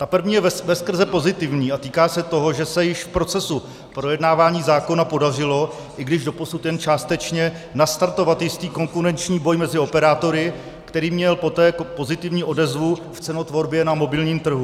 Ta první je veskrze pozitivní a týká se toho, že se již v procesu projednávání zákona podařilo, i když doposud jen částečně, nastartovat jistý konkurenční boj mezi operátory, který měl poté pozitivní odezvu v cenotvorbě na mobilním trhu.